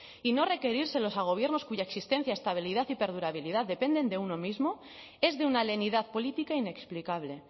y no requerírselos a gobiernos cuya existencia estabilidad y perdurabilidad dependen de uno mismo es de una lenidad política inexplicable